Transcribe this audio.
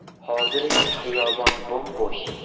Hozir esa xiyobon bo‘m-bo‘sh.